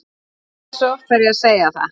Hversu oft þarf ég að segja það?